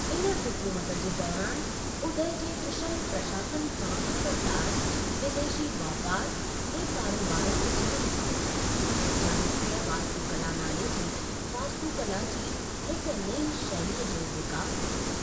इन हुकूमत जे दौरान उदय जे कुशल प्रशासन सां असरदारु, विदेशी वापारु ऐं करोबारु जो जन्मु थियो ऐं चालुक्य वास्तुकला नाले जी वास्तुकला जी हिक नईं शैलीअ जो विकास थियो।